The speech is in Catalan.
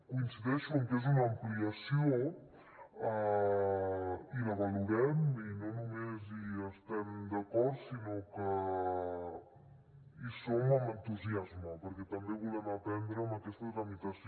coincideixo en que és una ampliació i la valorem i no només hi estem d’acord sinó que hi som amb entusiasme perquè també volem aprendre amb aquesta tramitació